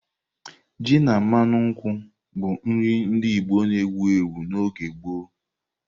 Ji na mmanu nkwụ bụ nri ndị Igbo na-ewu ewu n'oge gboo.